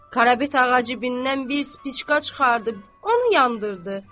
Karapet ağa cibindən bir spiçka çıxardıb onu yandırdı.